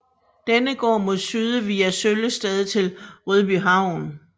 Denne går mod syd via Søllested til Rødbyhavn